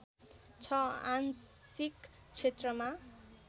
छ आंशिक क्षेत्रमा